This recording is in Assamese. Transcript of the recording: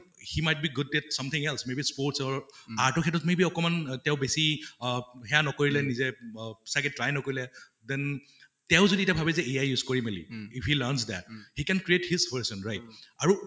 he might be good at something else may be sports or art ৰ ক্ষেত্ৰত may be অকমান তেওঁ বেছি অহ সেয়া নকৰিলে নিজে অব চাগে try নকৰিলে then তেওঁ যদি এতিয়া ভাবে যে AI use কৰি মেলি if he learns that he can create his version right? আৰু